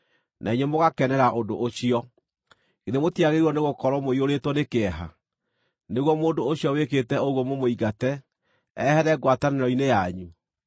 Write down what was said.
Na inyuĩ mũgakenera ũndũ ũcio! Githĩ mũtiagĩrĩirwo nĩgũkorwo mũiyũrĩtwo nĩ kĩeha, nĩguo mũndũ ũcio wĩkĩte ũguo mũmũingate, ehere ngwatanĩro-inĩ yanyu?